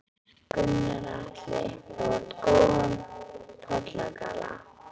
Gunnar Atli: Þú átt góðan pollagalla?